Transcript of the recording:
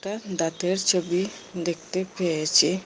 তার দাঁতের ছবি দেখতে পেয়েছি।